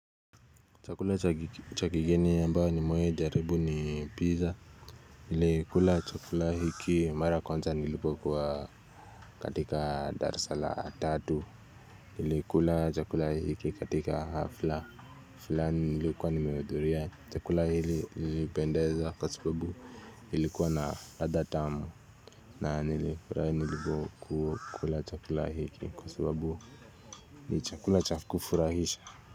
Chakula cha kigeni ambayo nimewahi jaribu ni pizza Nilikula chakula hiki mara ya kwanza nilipokuwa katika darasa la tatu Nilikula chakula hiki katika hafla fulani nilikuwa nimehudhuria chakula hili ilinipendeza kwa sababu ilikuwa na ladha tamu na nilifurahi nilipokula chakula hiki kwa sababu ni chakula cha kufurahisha.